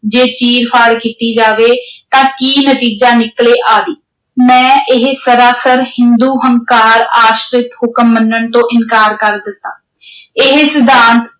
ਜੇ ਚੀਰ-ਫਾੜ ਕੀਤੀ ਜਾਵੇ ਤਾਂ ਕੀ ਨਤੀਜਾ ਨਿਕਲੇ ਆਦਿ। ਮੈਂ ਇਹ ਸਰਾਸਰ ਹਿੰਦੂ ਹੰਕਾਰ ਆਸ਼ਰਿਤ ਹੁਕਮ ਮੰਨਣ ਤੋਂ ਇਨਕਾਰ ਕਰ ਦਿੱਤਾ ਇਹ ਸਿਧਾਂਤ